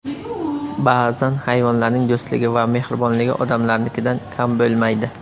Ba’zan hayvonlarning do‘stligi va mehribonligi odamlarnikidan kam bo‘lmaydi.